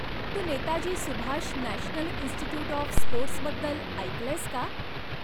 Tu Netaji Subhash national institute of sports बद्दल ऐकलंयस का?